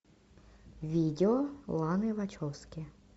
видео ланы вачовски